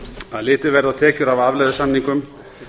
að litið verði á tekjur af afleiðusamningum